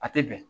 A tɛ bɛn